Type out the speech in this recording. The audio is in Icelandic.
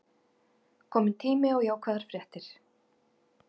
Kominn tími á jákvæðar fréttir